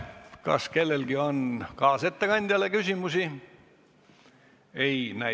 Kas kellelgi on kaasettekandjale küsimusi?